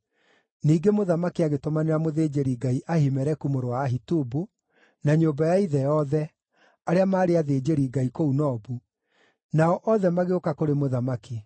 Ningĩ mũthamaki agĩtũmanĩra mũthĩnjĩri-Ngai Ahimeleku mũrũ wa Ahitubu, na nyũmba ya ithe yothe, arĩa maarĩ athĩnjĩri-Ngai kũu Nobu, nao othe magĩũka kũrĩ mũthamaki.